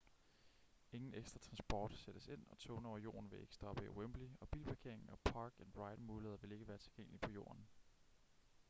ingen ekstra transport sættes ind og togene over jorden vil ikke stoppe i wembley og bilparkering og park-and-ride-muligheder vil ikke være tilgængelige på jorden